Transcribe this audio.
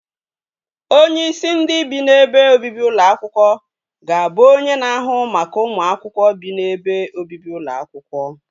Onyeisi ndị bi n'ebe obibi ụlọ akwụkwọ ga-abụ onye na-ahụ maka ụmụ akwụkwọ bi n'ebe obibi ụlọ akwụkwọ